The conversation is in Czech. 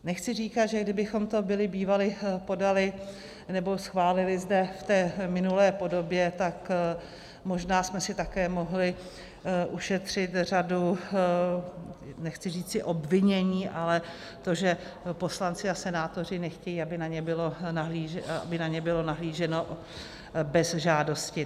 Nechci říkat, že kdybychom to byli bývali podali, nebo schválili zde v té minulé podobě, tak možná jsme si také mohli ušetřit řadu, nechci říci obvinění, ale to, že poslanci a senátoři nechtějí, aby na ně bylo nahlíženo bez žádosti.